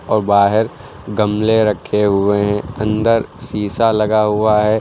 और बाहर गमले रखे हुए हैं अंदर शीशा लगा हुआ है।